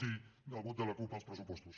sí el vot de la cup als pressupostos